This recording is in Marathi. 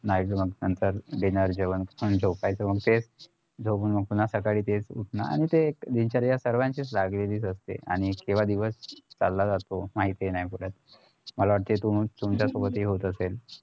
नाहीस मग नंतर dinner जेवण आणि झोपायचं मग तेच झोपून पुन्हा सकाळी तेच उठणार आणि ते एक दिनचर्या सर्वांचीच लागलेली असते आणि किंवा दिवस चला जातो माहिती नाही पडत मला वाटत तू तुमच्या सोबतपण हे होत असेल